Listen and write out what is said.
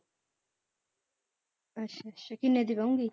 ਕਿੰਨੇ ਦੀ ਪਊਗੀ?